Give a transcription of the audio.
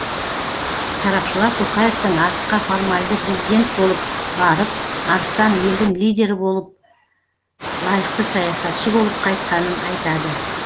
сарапшылар тоқаевтың арысқа формальды президент болып барып арыстан елдің лидері болып лайықты саясатшы болып қайтқанын айтады